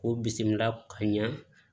K'u bisimila ka ɲɛ